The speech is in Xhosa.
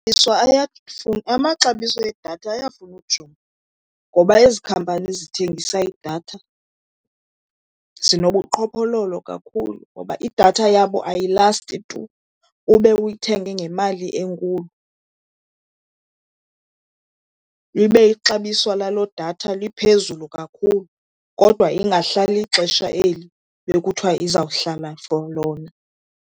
Amaxabiso edatha ayafuna ujongwa ngoba ezi khampani zithengisa idatha zinobuqhophololo kakhulu. Ngoba idatha yabo ayilayisti tu ube uyithenge ngemali enkulu, libe ixabiso laloo datha liphezulu kakhulu kodwa ingahlali ixesha eli bekuthiwa izawuhlala for lona.